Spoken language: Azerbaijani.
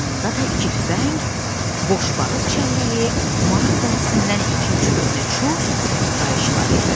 Yanında da iki tüfəng, boş barıt çəlləyi, maral dərisindən iki-üç köhnə çust, qayış var idi.